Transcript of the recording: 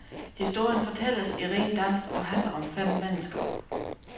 Historien fortælles i ren dans og handler om fem mennesker.